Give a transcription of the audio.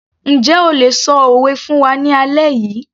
Njẹ́ o lè ṣọ òwe fún wa ní alẹ́ yìí